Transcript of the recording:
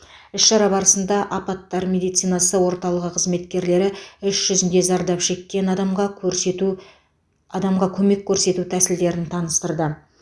іс шара барысында апаттар медицинасы орталығы қызметкерлері іс жүзінде зардап шеккен адамға көрсету адамға көмек көрсету тәсілдерін таныстырды